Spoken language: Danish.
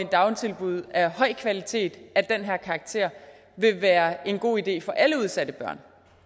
dagtilbud af høj kvalitet og af den her karakter vil være en god idé for alle udsatte børn